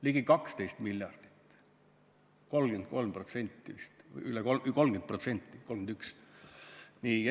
Ligi 12 miljardit, vist on 30% või 31%.